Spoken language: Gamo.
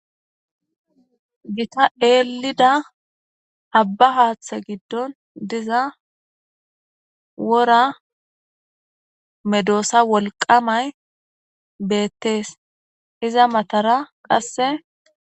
Gitta eelida abba haathe giddon diza wora medoosa wolqamay beettees iza matara qasse